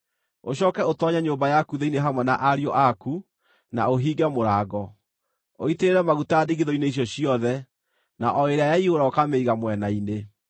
Ũcooke ũtoonye nyũmba yaku thĩinĩ hamwe na ariũ aku, na ũhinge mũrango. Ũitĩrĩre maguta ndigithũ-inĩ icio ciothe, na o ĩrĩa yaiyũra ũkamĩiga mwena-inĩ.”